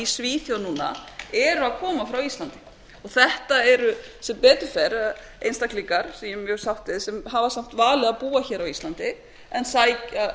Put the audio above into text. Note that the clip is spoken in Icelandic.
svíþjóð núna eru að koma frá íslandi þetta eru sem betur fer einstaklingar sem hafa valið að búa á íslandi en sækja